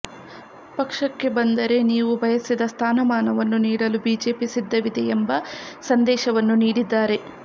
ಪಕ್ಷಕ್ಕೆ ಬಂದರೆ ನೀವು ಬಯಸಿದ ಸ್ಥಾನಮಾನವನ್ನು ನೀಡಲು ಬಿಜೆಪಿ ಸಿದ್ಧವಿದೆ ಎಂಬ ಸಂದೇಶವನ್ನು ನೀಡಿದ್ದಾರೆ